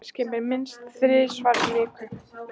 Agnes kemur minnst þrisvar í viku.